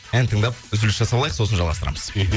ән тыңдап үзіліс жасап алайық сосын жалғастырамыз мхм